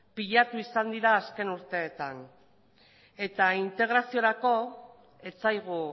pilatu izan dira azken urteetan eta integraziorako ez zaigu